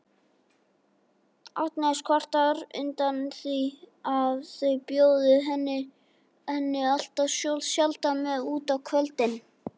Agnes kvartar undan því að þau bjóði henni alltof sjaldan með út á kvöldin.